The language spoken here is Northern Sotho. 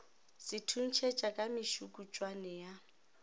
se thuntšhetša ka mešukutšwane ya